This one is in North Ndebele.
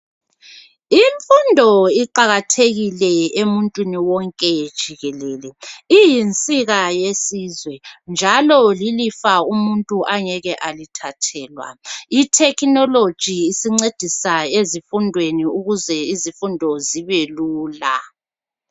Imfundo iqakathekile emuntwini wonke jikelele. Iyinsika yesizwe njalo lilifa umuntu angeke alithathelwa .I"technology " isincedisa ezifundweni ukuze izifundo zibelula.